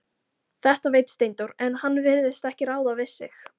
Þetta veit Steindór, en hann virðist ekki ráða við sig.